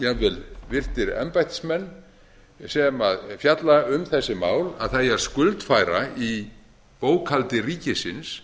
jafnvel virtir embættismenn sem fjalla um þessi mál að það eigi að skuldfæra í bókhaldi ríkisins